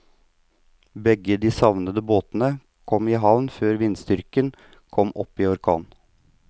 Begge de savnede båtene kom i havn før vindstyrken kom opp i orkan.